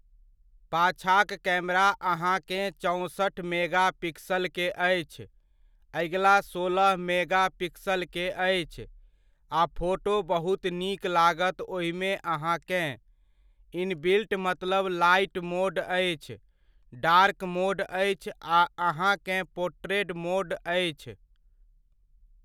पाछाक camera अहाँकेँ चौँसठि mega पिक्सलके अछि, अगिला सोलह मेगा पिक्स़लके अछि। आ फोटो बहुत नीक लागत ओहिमे अहाँकेँ, इनबिल्ट मतलब लाइट मोड अछि, डार्क मोड अछि आ अहाँकेँ पोर्ट्रेट मोड अछि।